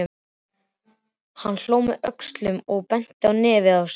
Hann hló með öxlunum og benti á nefið á sér.